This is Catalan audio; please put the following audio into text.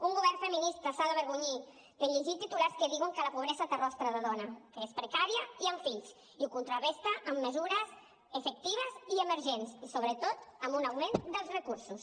un govern feminista s’ha d’avergonyir de llegir titulars que diuen que la pobresa té rostre de dona que és precària i amb fills i ho contraresta amb mesures efectives i emergents i sobretot amb un augment dels recursos